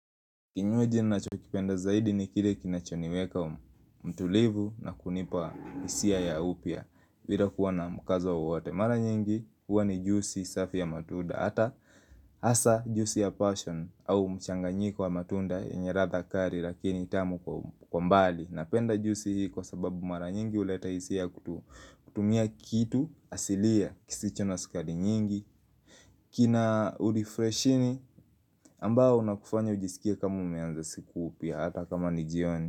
Kinywaji ninachokipenda zaidi ni kile kinachoniweka utulivu na kunipa hisia ya upya bila kuwa na mkazo wowote mara nyingi huwa ni jusi safi ya matunda Hata hasa jusi ya passion au mchanganyiko wa matunda yenye ladha kali lakini ni tamu kwa umbali Napenda jusi hii kwa sababu mara nyingi huleta hisia kutumia kitu asilia kisicho na sukari nyingi kina urefreshini ambao unakufanya ujisikie kama umeanza siku upya hata kama ni jioni.